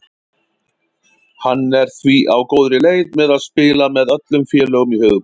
Hann er því á góðri leið með að spila með öllum félögum í höfuðborginni.